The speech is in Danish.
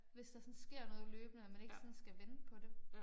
Hvis der sådan sker noget løbende og man ikke sådan skal vente på det